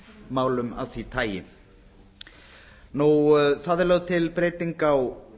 sanngirnismálum af því tagi lögð er til breyting á